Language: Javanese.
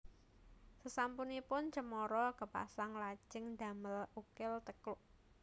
Sasampunipun cemara kapasang lajeng damel ukel tekuk